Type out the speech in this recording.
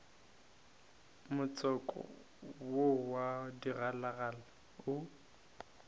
motswako wo wa digalagala o